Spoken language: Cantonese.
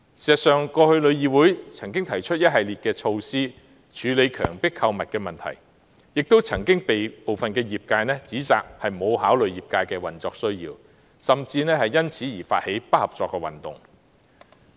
事實上，過去旅議會曾經提出一系列措施處理強迫購物的問題，亦曾被部分業界指責沒有考慮業界的運作需要，後者更因而發起不合作運動。